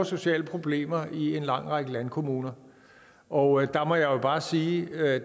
sociale problemer i en lang række landkommuner og jeg må jo bare sige at